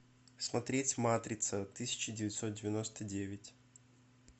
смотреть матрица тысяча девятьсот девяносто девять